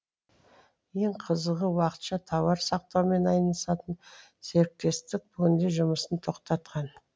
ең қызығы уақытша тауар сақтаумен айналысатын серіктестік бүгінде жұмысын тоқтатқан